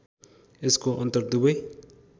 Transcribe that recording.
यसको अनन्तर दुवै